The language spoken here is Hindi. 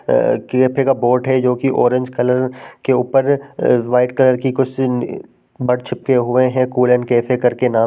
अ केफे का बोर्ड हैं जो कि ऑरेंज कलर के ऊपर व्हाइट कलर की कुछ नि छिपके हुये हैं। कुलन केफे करके नाम --